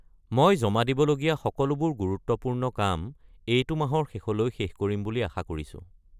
মই জমা দিবলগীয়া সকলোবোৰ গুৰুত্বপূৰ্ণ কাম, এইটো মাহৰ শেষলৈ শেষ কৰিম বুলি আশা কৰিছোঁ।